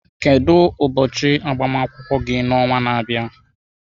Kedu ụbọchị agbamakwụkwọ gị n'ọnwa na-abịa?